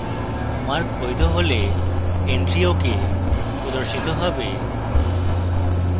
mark বৈধ হলে entry ok প্রদর্শিত হবে